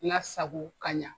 Kasago ka ɲa.